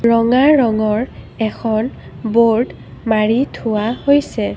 ৰঙা ৰঙৰ এখন ব'ৰ্ড মাৰি থোৱা হৈছে।